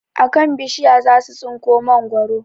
A kan bishiya za su tsinko mangwaro